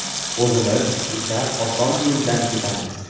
O‘zimiz esa oson yo‘ldan ketamiz.